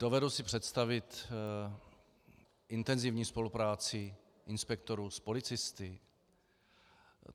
Dovedu si představit intenzivní spolupráci inspektorů s policisty.